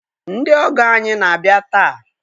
Ndị ọgọ anyị na-abịa taa.